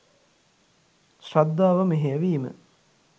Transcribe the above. ශ්‍රද්ධාව මෙහෙය වීම